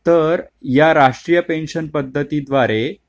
तर या राष्ट्रीय पेन्शन पद्धती द्वारे